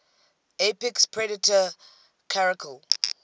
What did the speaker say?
apex predator caracal